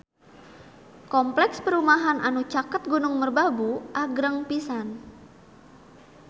Kompleks perumahan anu caket Gunung Merbabu agreng pisan